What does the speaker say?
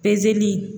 Pezeli